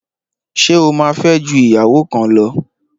Ṣé o má fẹ́ ju ìyàwó kan lọ?.